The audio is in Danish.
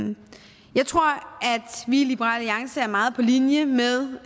vi i liberal alliance er meget på linje med